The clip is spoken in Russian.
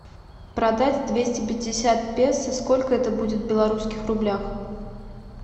продать двести пятьдесят песо сколько это будет в белорусских рублях